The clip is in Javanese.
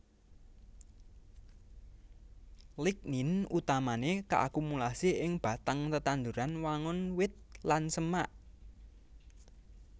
Lignin utamané kaakumulasi ing batang tetanduran wangun wit lan semak